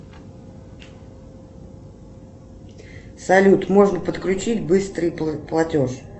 салют можно подключить быстрый платеж